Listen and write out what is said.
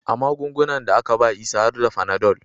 A magungunan da aka ba Isa har da Fanadol